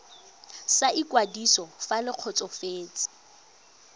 sa ikwadiso fa le kgotsofetse